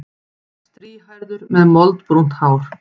Strýhærður með moldbrúnt hár.